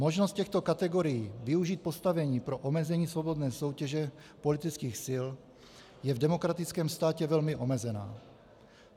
Možnost těchto kategorií využít postavení pro omezení svobodné soutěže politických sil je v demokratickém státě velmi omezená.